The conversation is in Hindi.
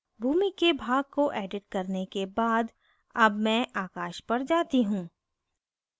भूमि के भाग को एडिट करने के बाद अब मैं आकाश पर जाती हूँ